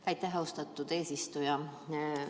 Aitäh, austatud eesistuja!